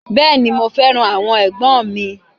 Beeni, mo feran awon egbon mi.